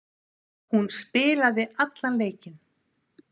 Hún spilaði allan leikinn.